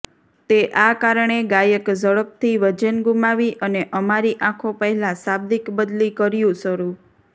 તે આ કારણે ગાયક ઝડપથી વજન ગુમાવી અને અમારી આંખો પહેલાં શાબ્દિક બદલી શરૂ કર્યું